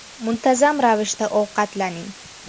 Muntazam ravishda ovqatlaning.